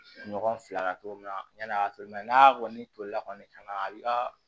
Ɲɔgɔn fila la cogo min na yani a ka to n'a kɔni tolila kɔni ka na a bi ka